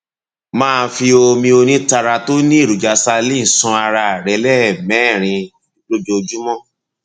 máa fi omi onítara tó ní èròjà saline ṣan ara rẹ lẹẹmẹrin lójúmọ